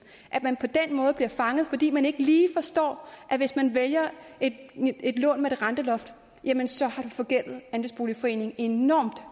at man på den måde bliver fanget fordi man ikke lige forstår at hvis man vælger et lån med det renteloft jamen så har man forgældet andelsboligforeningen enormt